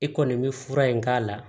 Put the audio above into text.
I kɔni bɛ fura in k'a la